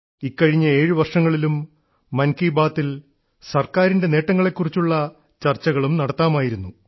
ഇക്കഴിഞ്ഞ ഏഴു വർഷങ്ങളിലും മൻ കി ബാത്തിൽ സർക്കാരിൻറെ നേട്ടങ്ങളെക്കുറിച്ചുള്ള ചർച്ചകളും നടത്താമായിരുന്നു